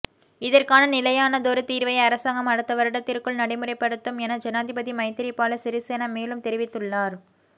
இதற்கான நிலையானதொரு தீர்வை அரசாங்கம் அடுத்த வருடத்திற்குள் நடைமுறைப்படுத்தும் என ஜனாதிபதி மைத்திரிபால சிறிசேன மேலும் தெரிவித்துள்ளார்